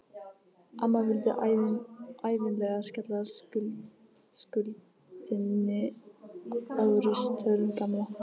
Amma vildi ævinlega skella skuldinni á ritstörf Gamla.